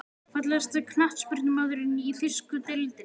Fallegasti knattspyrnumaðurinn í þýsku deildinni?